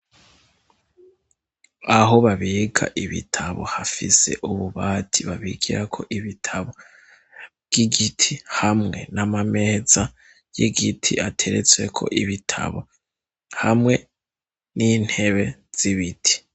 Aho babika ibitabo hafise ububati babigira ko ibitabo by'igiti hamwe n'amameza y'igiti ateretswe ko ibitabo hamwe n'intebe zibiti.